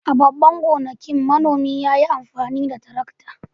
A babban gonakin, manomin ya yi amfani da tarakta.